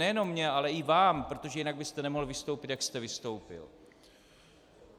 Nejenom mně, ale i vám, protože jinak byste nemohl vystoupit, jak jste vystoupil.